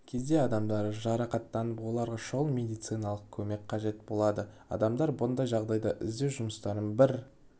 кезде адамдар жарақаттанып оларға шұғыл медициналық көмек қажет болады адамдар бұндай жағдайда іздеу жұмыстарын бір